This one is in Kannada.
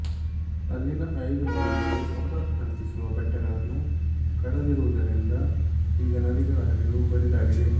ಅಲ್ಲಿನ ಐದು ನದಿಗಳಗೆ ಸಂಪರ್ಕ ಕಲ್ಪಿಸುವ ಬೆಟ್ಟಗಳನ್ನು ಕಡಿದಿರುವುದರಿಂದ ಈಗ ನದಿಗಳ ಹರಿವು ಬರಿದಾಗಿದೆ